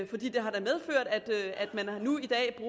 man nu i dag